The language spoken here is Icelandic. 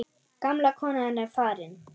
Gamla konan er farin.